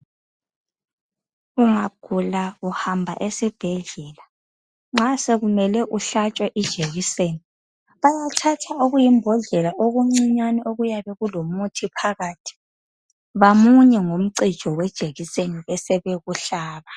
Ungagula uhamba esibhedlela nxa sokumele uhlatshwe ijekiseni bayathatha okuyimbodlela okuncinyane okuyabe kulomuthi phakathi bamunye ngomncijo wejekiseni bebesebekuhlaba